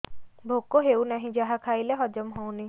ଭୋକ ହେଉନାହିଁ ଯାହା ଖାଇଲେ ହଜମ ହଉନି